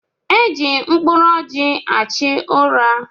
Eji mkpụrụ ọjị achụ ụra.